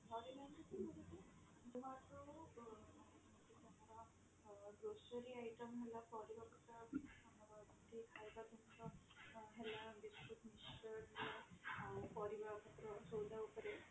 ଆଁ glossary item ଯାହା ପଡିବା କଥା ଆମର ଠିକ ଖାଇବା ପିଇବା କଥା ହେଲା biscuit, mixture ଆଉ ପାରିବା ଉପରେ, ସଉଦା ଉପରେ